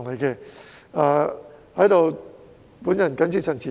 我謹此陳辭。